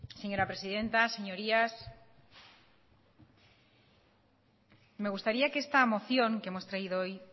señora presidenta señorías me gustaría que esta moción que hemos traído hoy